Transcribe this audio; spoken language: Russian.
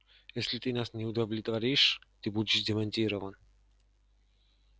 если ты нас не удовлетворишь ты будешь демонтирован